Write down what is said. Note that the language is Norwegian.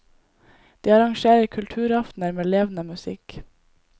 De arrangerer kulturaftener med levende musikk.